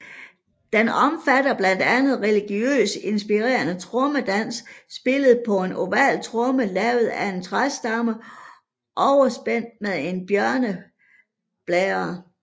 Den omfatter blandt andet religiøst inspirerede trommedanse spillet på en oval tromme lavet af en træramme overspændt med en bjørneblære